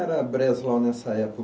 Era Breslau nessa épo